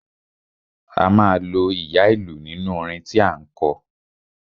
A máa lo ìyá ìlú nínú orin tí à ń kọ.